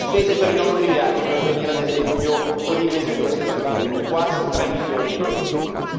Le spese per i nostri viaggi, per venire ad esempio ogni mese qui a Strasburgo, quasi 3 milioni di euro in più.